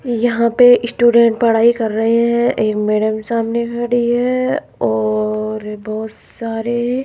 यहां पे स्टूडेंट पढ़ाई कर रहे हैं एक मैडम सामने खड़ी है और बहुत सारे--